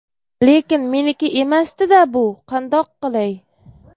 Lekin meniki emasdi-da bu, qandoq qilay?!